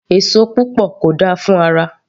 Èso púpọ̀ kò dáa fún ara